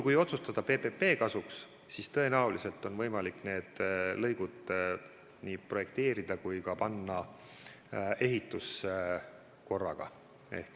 Kui otsustada PPP kasuks, siis tõenäoliselt on võimalik need lõigud nii projekteerida korraga kui ka panna ehitusse korraga.